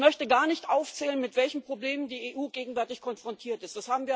Ich möchte gar nicht aufzählen, mit welchen Problemen die EU gegenwärtig konfrontiert ist.